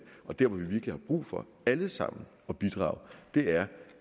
og dér hvor vi virkelig har brug for alle sammen at bidrage er